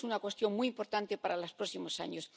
Esta es una cuestión muy importante para los próximos años.